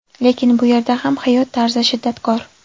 Lekin bu yerda ham hayot tarzi shiddatkor.